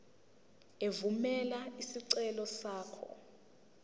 evumela isicelo sakho